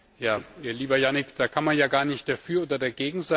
Lieber Yannick, da kann man ja gar nicht dafür oder dagegen sein.